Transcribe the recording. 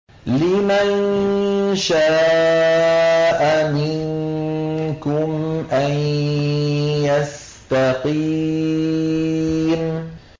لِمَن شَاءَ مِنكُمْ أَن يَسْتَقِيمَ